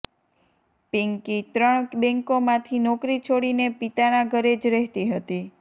પિન્કી ત્રણ બેન્કોમાંથી નોકરી છોડીને પિતાના ઘરે જ રહેતી હતી